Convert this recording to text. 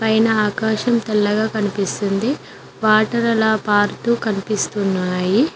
పైన ఆకాశం తెల్లగా కనిపిస్తుంది వాటర్ అలా పారుతు కనిపిస్తున్నాయి.